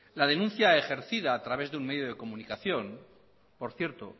la denuncia ejercida a través de un medio de comunicación que por cierto